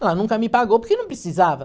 Ela nunca me pagou porque não precisava.